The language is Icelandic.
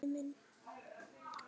Diddi minn.